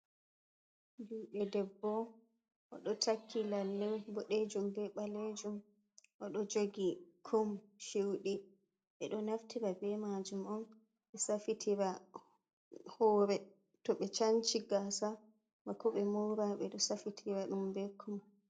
Juuɗe debbo, o ɗo takki lalle boɗejum be balejum. O ɗo jogi kum shuuɗi, ɓe no naftira be maajum on ɓe safitira hoore to ɓe canci gaasa. Bako ɓe mora ɓe ɗo safitira ɗum be kum.